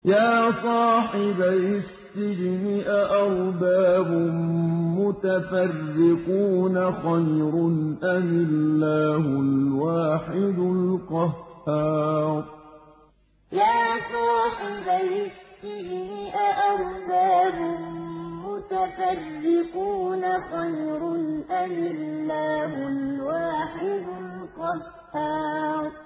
يَا صَاحِبَيِ السِّجْنِ أَأَرْبَابٌ مُّتَفَرِّقُونَ خَيْرٌ أَمِ اللَّهُ الْوَاحِدُ الْقَهَّارُ يَا صَاحِبَيِ السِّجْنِ أَأَرْبَابٌ مُّتَفَرِّقُونَ خَيْرٌ أَمِ اللَّهُ الْوَاحِدُ الْقَهَّارُ